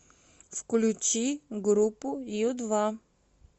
включи группу ю два